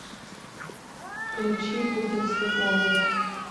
включи будет светло